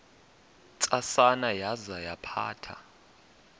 ntsasana yaza yaphatha